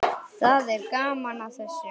Það er gaman að þessu.